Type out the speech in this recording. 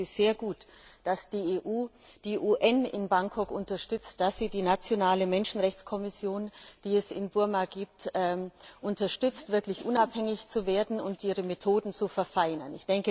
Ich denke, es ist sehr gut, dass die EU die UN in Bangkok unterstützt und dass sie die nationale Menschenrechtskommission, die es in Burma gibt, unterstützt, wirklich unabhängig zu werden und ihre Methoden zu verfeinern.